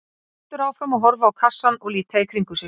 Hann heldur áfram að horfa á kassann og líta í kringum sig.